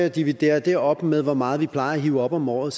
og dividerer det op med hvor meget vi plejer at hive op om året